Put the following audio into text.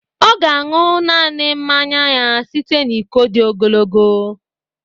Ọ ga-aṅụ naanị mmanya ya site na iko dị ogologo